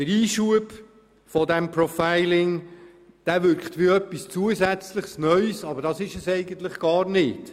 Der Einschub über das Profiling wirkt wie etwas Zusätzliches und Neues, aber das ist es eigentlich nicht.